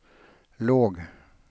låg